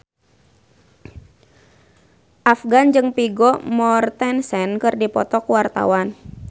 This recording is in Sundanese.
Afgan jeung Vigo Mortensen keur dipoto ku wartawan